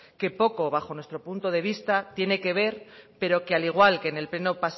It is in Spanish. que poco bajo nuestro punto de vista tiene que ver pero que al igual que en el pleno